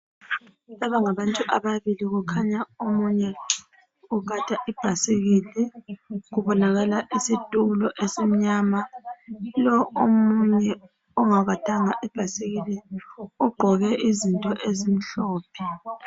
Laba ngabantu ababili kukhanya omunye ugada ibhayisikili. Kubonakala isitulo esimnyama. Lo ongagadanga ibhayisikili ugqoke into ezimhlophe